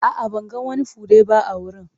A'a, ban ga wani fure ba a wurin.